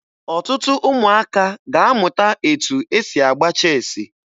Ọtụtụ ụmụaka ga-amụta etu e si agba cheesi